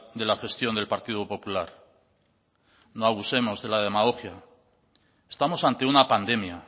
de la gestión del partido popular no abusemos de la demagogia estamos ante una pandemia